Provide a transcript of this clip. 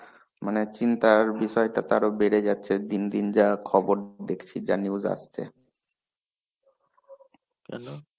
মানে চিন্তার বিষয়টা তো আরো বেড়ে যাচ্ছে দিন দিন যা খবর দেখছি যা, news আসছে.